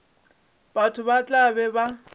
batho ba tla be ba